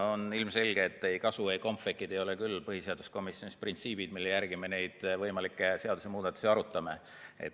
On ilmselge, et ei kasu ega kompvekid ei ole küll põhiseaduskomisjonis printsiibid, mille järgi me võimalikke seadusemuudatusi arutame.